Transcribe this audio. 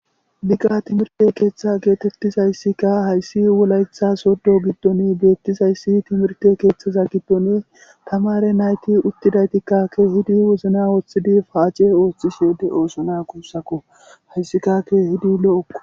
Bigga timirte keeththa geetettizayssika hayssi wolayetha soddo giddon beettizayssi timirte keeththaza gibbone tamare nayti uttidaytikkakke hidi wozna ooththidi paace ooththishede oosona kuussakko hayssikkake hidi lo'okko.